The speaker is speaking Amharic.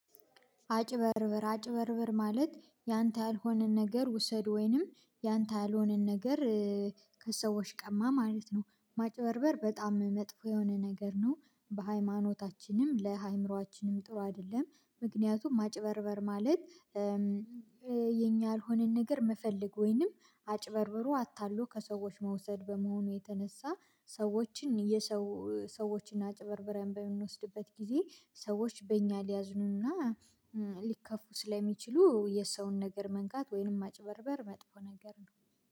አጭበርብር አጭበርብር ማለት ያንተ ያልሆነን ነገር ውሰድ ወይንም ያንተ ያልሆነን ነገር ከሰዎች ቀማ ማለት ነው ማጭበርበር በጣም መጥፎ የሆነ ነገር ነው። በሃይማኖታችንም ለአእምሮአችንም ጥሩ አይደለም። ምክንያቱም ማጭበርበር ማለት የኛ ያልሆነን ነገር መፈለግ ወይንም አጭበርብሮ አታሎ ከሰዎች መውሰድ በመሆኑ የተነሳ ሰዎችን የሰው ሰዎችን አጭበርብረን በምንወስድበት ጊዜ ሰዎች በእኛ ሊያዝኑና ሊከፉ ስለሚችሉ የሰውን ነገር መንካት ወይንም ማጭበርበር መጥፎ ነገር ነው